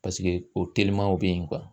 Paseke o telimaw bɛ ye